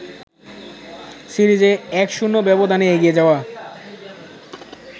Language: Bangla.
সিরিজে ১-০ ব্যবধানে এগিয়ে যাওয়া